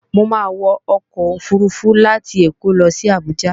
Mo máa wọ ọkọ̀ òfurufú láti Èkó lo sí Àbújá